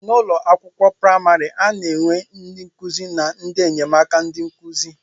N'ụlọ akwụkwọ praimari, a na-enwe ndị nkụzi na ndị enyemaka ndị nkụzi.